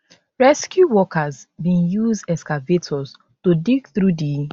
rescue workers bin use excavators to dig through di